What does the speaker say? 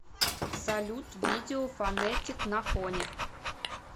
салют видео фонетик на фоне